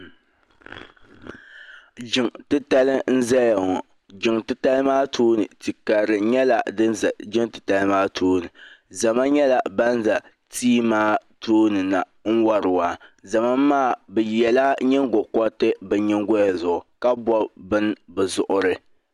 Jiŋ ti tali nʒɛya ŋɔ. jiŋ titali maa tooni, tikarili nyala din ʒaya. jiŋtitali maa tooni. zama nyɛla ban ʒa tii maa tooni na n wari waa zama maa bɛ yela nyiŋgo koriti, bɛ nyiŋgoya zuɣu ka bɔbi bɛni bi zuɣurini.